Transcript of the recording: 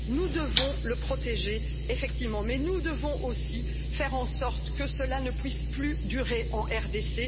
Nous devons le protéger, effectivement, mais nous devons aussi faire en sorte que cela ne puisse plus durer en RDC.